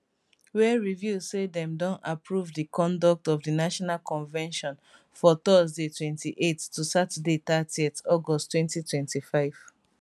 wey reveal say dem don approved di conduct of di national convention for thursday 28th to saturday 30th august 2025